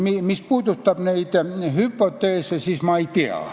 Mis puudutab neid hüpoteese, siis ma ei tea.